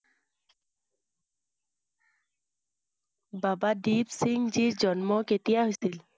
বাবা দিপসিংজীৰ জন্ম কেতিয়া হৈছিল?